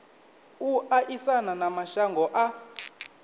u aisana na mashango a